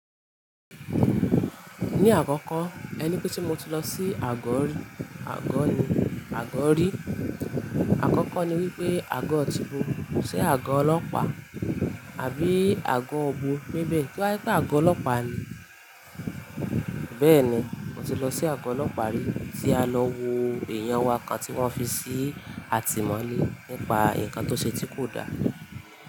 Ní àkọ́kọ́ ẹni pé tí mo ti lọ sí àgọ́ rí, àgọ́ ni, àgọ́ rí. Àkọ́kọ́ ni wípé àgọ́ ti bo. Ṣé àgọ́ ọlọ́pàá àbí àgọ́ ibọ? Bí bẹ́ẹ̀ to ba je pé àgọ́ ọlọ́pàá ni. Bẹ́ẹ̀ni, mo ti lọ sí àgọ́ ọlọ́pàá rí tí a lọ wo èèyàn wa kan tí wọ́n fi sí àtìmọ́lé nípa nǹkan tó ṣe tí kò da.